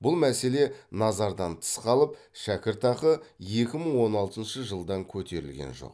бұл мәселе назардан тыс қалып шәкіртақы екі мың он алтыншы жылдан көтерілген жоқ